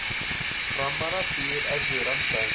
Framara bíður erfiður andstæðingur